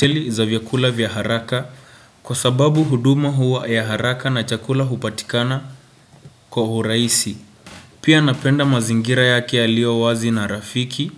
Teli za vyakula vya haraka kwa sababu huduma huwa ya haraka na chakula hupatikana kwa urahisi. Pia napenda mazingira yake yalio wazi na rafiki.